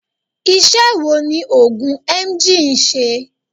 Ise wo ni ogun Emgyl n se?